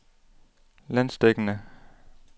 landsdækkende